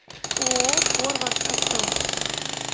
ооо форвард авто